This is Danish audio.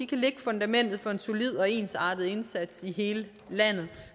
kan lægge fundamentet for en solid og ensartet indsats i hele landet